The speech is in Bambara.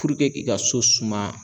puruke k'i ka so suma